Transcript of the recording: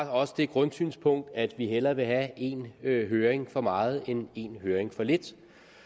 har også det grundsynspunkt at vi hellere vil have en høring for meget end en høring for lidt